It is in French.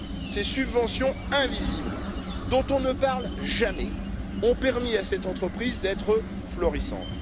Ces subventions invisibles, dont on ne parle jamais, ont permis à cette entreprise d'être florissante.